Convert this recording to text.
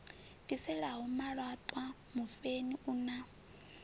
bviselaho malaṱwa mufheni u na